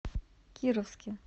кировске